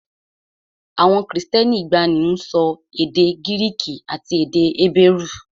Àwọn Kristẹni ìgbàanì ń sọ èdè Gíríìkì àti èdè Hébérù